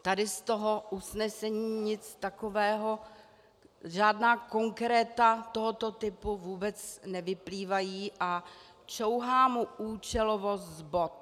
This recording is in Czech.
Tady z toho usnesení nic takového, žádná konkréta tohoto typu vůbec nevyplývají a čouhá mu účelovost z bot.